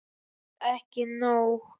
En ekki nóg.